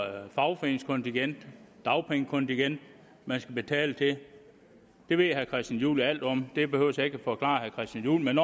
fagforeningskontingent dagpengekontingent man skal betale det ved herre christian juhl alt om det behøver jeg ikke at forklare herre christian juhl men